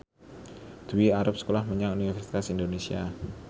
Dwi arep sekolah menyang Universitas Indonesia